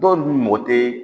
Dɔw dun mɔgɔ tɛ